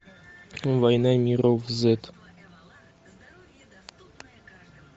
война миров зет